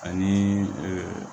Ani